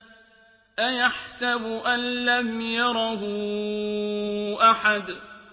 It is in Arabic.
أَيَحْسَبُ أَن لَّمْ يَرَهُ أَحَدٌ